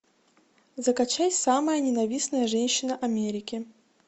закачай самая ненавистная женщина америки